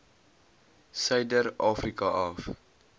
suider afrika af